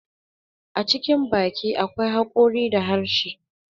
A cikin baki akwai hakori da harshe.